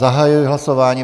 Zahajuji hlasování.